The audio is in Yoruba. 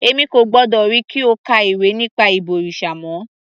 Èmi kò gbọ́dọ̀ ríi kí o ka ìwé nípa ìbọ̀rìṣà mọ́